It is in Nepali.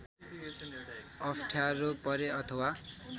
अप्ठ्यारो परे अथवा